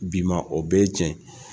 Bi ma; o bɛɛ ye cɛn ye